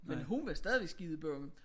Men hun var stadig skidebange